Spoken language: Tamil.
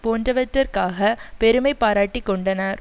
போன்றவற்றிற்காக பெருமை பாராட்டிக் கொண்டன